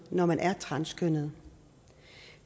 når man er transkønnet